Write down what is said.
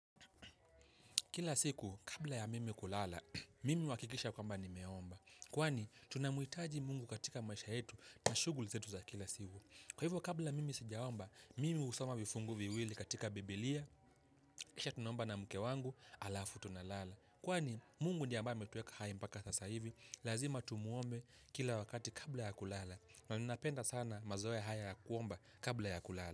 Kila siku, kabla ya mimi kulala, mimi huhakikisha kwamba nimeomba. Kwani, tunamhitaji Mungu katika maisha yetu na shughuli zetu za kila siku. Kwa hivyo, kabla mimi sijaomba, mimi husoma vifungu viwili katika bibilia, kisha tunomba na mke wangu, halafu tunalala. Kwani, Mungu ni ambaye ametuweka hai mpaka sasa hivi, lazima tumuombe kila wakati kabla ya kulala. Na ninapenda sana mazoea haya kuomba kabla ya kulala.